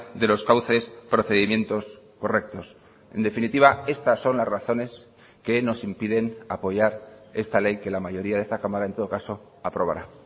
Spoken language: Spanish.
de los cauces procedimientos correctos en definitiva estas son las razones que nos impiden apoyar esta ley que la mayoría de esta cámara en todo caso aprobará